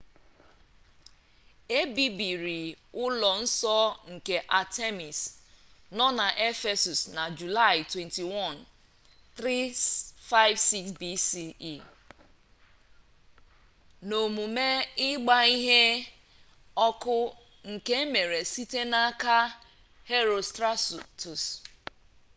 e bibiri ụlọ nsọ nke artemis nọ na ephesus na julaị 21 356 bce n'omume ịgba ihe ọkụ nke emere site n'aka herostratus